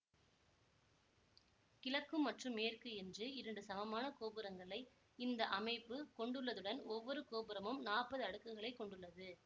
கிழக்கு மற்றும் மேற்கு என்று இரண்டு சமனான கோபுரங்களை இந்த அமைப்பு கொண்டுள்ளதுடன் ஒவ்வொரு கோபுரமும் நாப்பது அடுக்குகளை கொண்டுள்ளது